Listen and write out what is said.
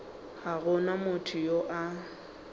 ga go motho yo a